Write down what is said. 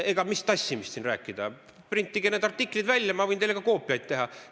Mis tassimisest siin rääkida, printige need artiklid välja, ma võin teile ka koopiaid teha.